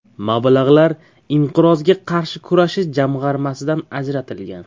Mablag‘lar Inqirozga qarshi kurashish jamg‘armasidan ajratilgan.